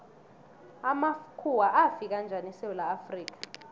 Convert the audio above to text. amakhuwa afika njani esewula afrika